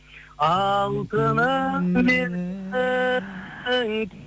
алтыным менің